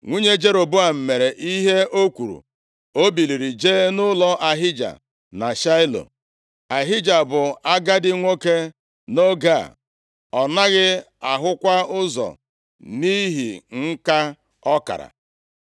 Nwunye Jeroboam mere ihe o kwuru, o biliri jee nʼụlọ Ahija na Shaịlo. Ahija bụ agadi nwoke nʼoge a. Ọ naghị ahụkwa ụzọ nʼihi nka ọ kara.